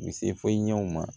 U se fɔ ɲɛw ma